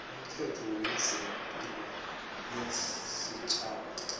umthetho wezepilo yesitjhaba